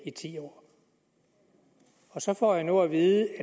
i ti år så får jeg nu at vide